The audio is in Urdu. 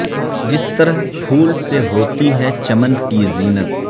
جس طرح پھول سے ہوتی ہے چمن کی زینت